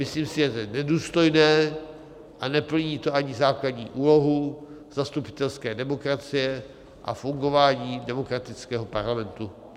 Myslím si, že to je nedůstojné a neplní to ani základní úlohu zastupitelské demokracie a fungování demokratického parlamentu.